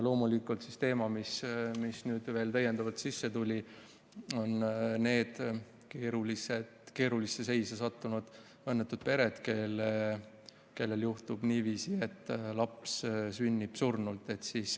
Teema, mis veel täiendavalt sisse tuli, on need keerulisse seisu sattunud õnnetud pered, kellel juhtub niiviisi, et laps sünnib surnult.